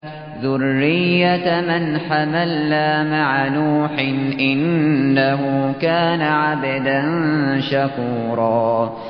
ذُرِّيَّةَ مَنْ حَمَلْنَا مَعَ نُوحٍ ۚ إِنَّهُ كَانَ عَبْدًا شَكُورًا